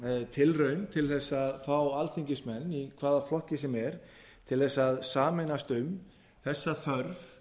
tilraun til þess að fá alþingismenn í hvaða flokki sem er til þess að sameinast um þessa þörf